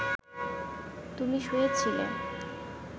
তুমি শুয়ে ছিলে